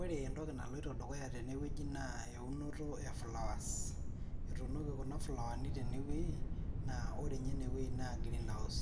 Ore entoki naloito dukuya teneweji naa ewinoto ee flowers etunoki kuna flawani tenewei naa ore nye ene wei naa greenhouse